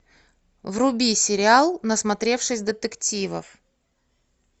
вруби сериал насмотревшись детективов